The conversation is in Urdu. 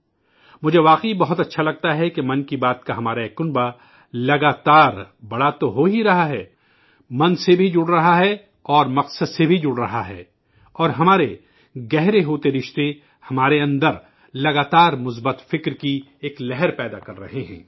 مجھے واقعی بہت اچھا لگتا ہے کہ'من کی بات' کا ہمارا یہ خاندان مسلسل بڑا تو ہوہی رہا ہے، من سے بھی جڑ رہا ہے اور مقصد سے بھی جڑ رہا ہے اور ہمارےگہرے ہوتے رشتے، ہمارے اندر، مسلسل مثبت نظریات کا ایک سلسلہ پیدا کررہے ہیں